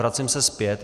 Vracím se zpět.